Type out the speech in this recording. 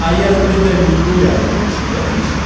а я с блядями не гуляю ясно тебе